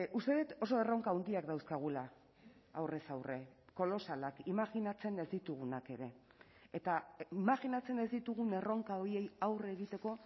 uste dut oso erronka handiak dauzkagula aurrez aurre kolosalak imajinatzen ez ditugunak ere eta imajinatzen ez ditugun erronka horiei aurre egiteko